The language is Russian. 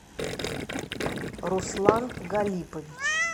руслан галипович